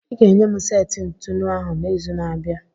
I ga-enye m seti ntụnụ ahụ n'izu na-abịa.